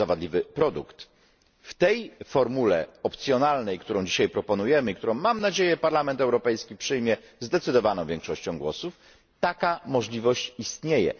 W tej formule opcjonalnej, którą dzisiaj proponujemy i którą, mam nadzieję, Parlament Europejski przyjmie zdecydowaną większością głosów, taka możliwość istnieje.